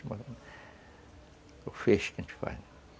O feixe que a gente faz.